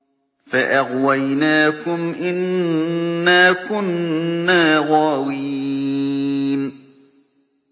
فَأَغْوَيْنَاكُمْ إِنَّا كُنَّا غَاوِينَ